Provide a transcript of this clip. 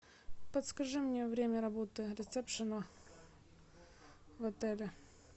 подскажи мне время работы ресепшена в отеле